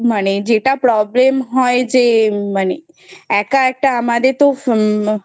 মানে যেটা Problem হয় যে মানে একা একটা আমাদের তো